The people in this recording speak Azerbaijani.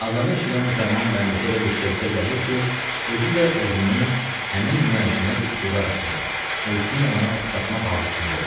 Azanı eşidən müsəlman bəndəsi elə bir şövqə gəlir ki, özü də özünü həmin müəzzinə iqtida etmək, özünü ona oxşatmaq arzusunda olur.